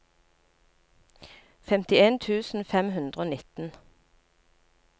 femtien tusen fem hundre og nitten